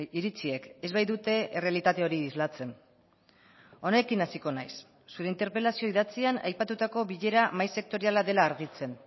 iritziek ez baitute errealitate hori islatzen honekin hasiko naiz zure interpelazio idatzian aipatutako bilera mahai sektoriala dela argitzen